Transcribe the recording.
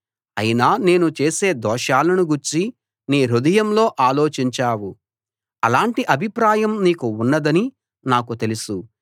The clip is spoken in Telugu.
అయినా నేను చేసే దోషాలను గూర్చి నీ హృదయంలో ఆలోచించావు అలాంటి అభిప్రాయం నీకు ఉన్నదని నాకు తెలుసు